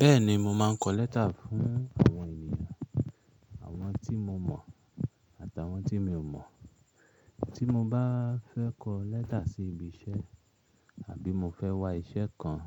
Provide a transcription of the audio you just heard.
Bẹ́ẹ̀ni, mo máa ń kọ lẹ́tà fún àwọn ènìyàn, àwọn tí mo mọ̀ àtàwọn tí mi ò mọ̀. Tí mo bá fẹ́ kọ lẹ́tà sí ibi iṣẹ́ àbí mo fẹ́ wá iṣẹ́ kan,